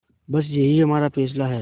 बस यही हमारा फैसला है